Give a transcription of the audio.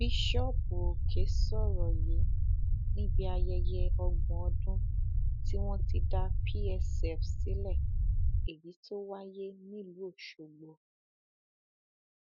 bíṣọọbù òkè sọrọ yìí níbi ayẹyẹ ọgbọn ọdún tí wọn ti dá psf sílẹ èyí tó wáyé nílùú ọsọgbò